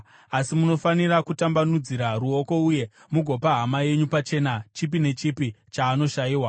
Asi munofanira kutambanudzira ruoko uye mugopa hama yenyu pachena chipi nechipi chaanoshayiwa.